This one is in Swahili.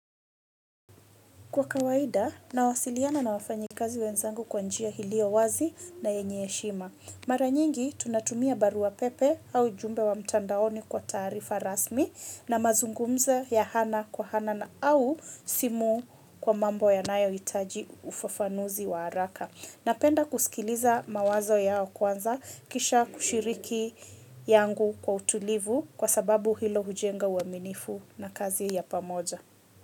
Kwa kawaida, nawasiliana na wafanyikazi wenzangu kwa njia hilio wazi na yenye heshima. Maranyingi tunatumia barua pepe au jumbe wa mtandaoni kwa tarifa rasmi na mazungumzo ya hana kwa hana na au simu kwa mambo ya nayohitaji ufafanuzi wa haraka. Napenda kusikiliza mawazo yao kwanza kisha kushiriki yangu kwa utulivu kwa sababu hilo hujenga uaminifu na kazi ya pamoja.